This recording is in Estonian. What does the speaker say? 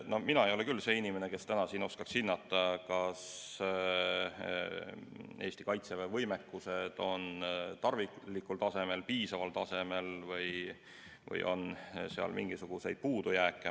No mina ei ole küll see inimene, kes täna siin oskaks hinnata, kas Eesti Kaitseväe võimekus on tarvilikul tasemel, piisaval tasemel või on seal mingisuguseid puudujääke.